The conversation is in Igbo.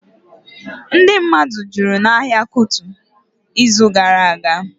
Ndị mmadụ jụrụ n'ahịa Kuto ịzụ gara aga